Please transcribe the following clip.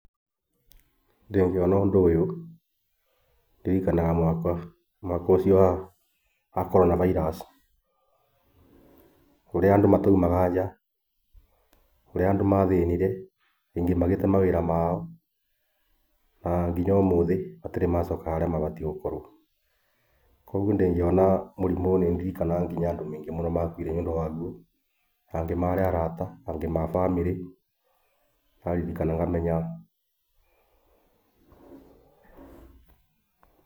Ndingĩona ũndũ ũyũ, ndirikanaga mwaka ũcio wakoragwo na virus. ũrĩa andũ mataumaga nja. ũrĩa andũ mathĩnire. Angĩ magĩte mawĩra mao. Na nginya ũmũthĩ matirĩ macoka harĩa mabatiĩ gũkorwo. Kogwo ndingĩona mũrimũ ũyũ nĩ ndirikanaga andũ aingĩ marĩ arata, angĩ a bamĩrĩ. Ndaririkana ngamenya...